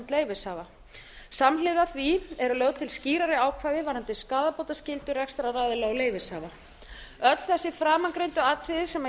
leyfishafa samhliða því eru lögð til skýrari ákvæði varðandi skaðabótaskyldu rekstraraðila og leyfishafa öll þessi framangreindu atriði sem ég hef